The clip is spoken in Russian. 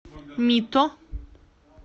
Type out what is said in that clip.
мито